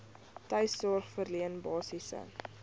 tuissorg verleen basiese